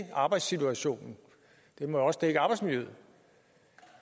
arbejdssituationen det må også dække arbejdsmiljøet